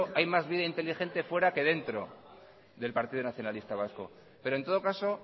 hay más vida inteligente fuera que dentro del partido nacionalista vasco pero en todo caso